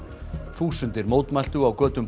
þúsundir mótmæltu á götum